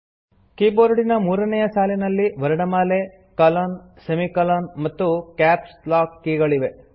ಕೀಬೋರ್ಡಿನ ಮೂರನೇಯ ಸಾಲಿನಲ್ಲಿ ವರ್ಣಮಾಲೆ ಕೊಲೊನ್ ಸೆಮಿಕೊಲಾನ್ ಮತ್ತು ಕ್ಯಾಪ್ಸ್ ಲಾಕ್ ಕೀ ಗಳಿವೆ